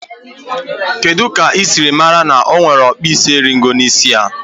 Kedu ka i siri mara na o nwere ọkpụisieringo n' isi ya?